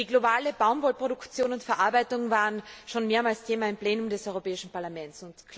Die globale Baumwollproduktion und verarbeitung waren schon mehrmals Thema im Plenum des Europäischen Parlaments.